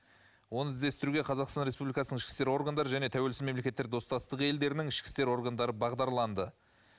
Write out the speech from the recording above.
оны іздестіруге қазақстан республикасының ішкі істер органдары және тәуелсіз мемлекеттер достастығы елдерінің ішкі істер органдары бағдарланды